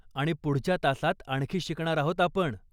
आणि पुढच्या तासात आणखी शिकणार आहोत आपण.